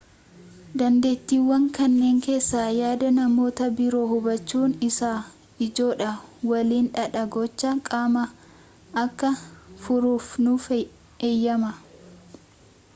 dandeettiiwwan kanneen keessaa yaada namoota biroo hubachuun isa ijoodha waliin dhaha gochaa qaamaa akka furuuf nuuf eeyyama